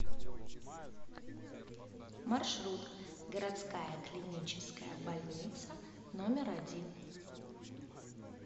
маршрут городская клиническая больница номер один